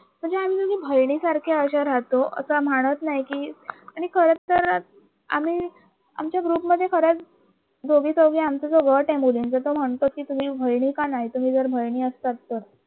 बहिणीसारख्या अशा राहतो की खर तर म्हणत नाही की मी खरं तर आम्ही आमच्या ग्रुपमध्ये खरंच मी दोघी आमचा जो गात आहे मुलींचा तो म्हणतो की तुम्ही जर बहिणी का नाही तुम्ही जर बहिनि असतात तर